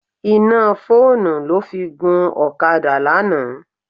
Iná fóònù ló fi gun ọ̀kadà lánàá.